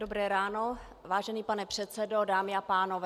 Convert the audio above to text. Dobré ráno, vážený pane předsedo, dámy a pánové.